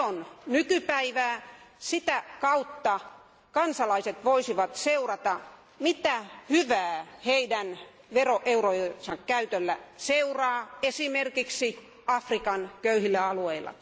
Se on nykypäivää, ja sitä kautta kansalaiset voisivat seurata, mitä hyvää heidän veroeurojensa käytöstä seuraa esimerkiksi Afrikan köyhillä alueilla.